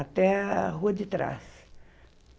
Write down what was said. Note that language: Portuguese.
Até a rua de trás.